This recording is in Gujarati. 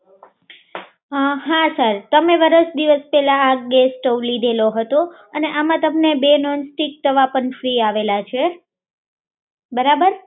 હા સર તમે વર્ષ દિવસ પેલા ગેસસ્ટવ લીધું હતું અને આમાં તમને બે મહિનાથી સમસ્યા આવે છે બરોબર